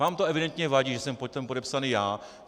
Vám to evidentně vadí, že jsem pod tím podepsaný já.